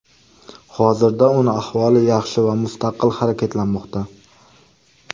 Hozirda uning ahvoli yaxshi va mustaqil harakatlanmoqda.